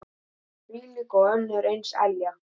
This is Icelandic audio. Þvílík og önnur eins elja.